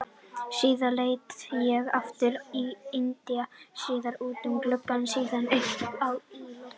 Síðan leit ég aftur á Inda, síðan út um gluggann, síðan upp í loftið.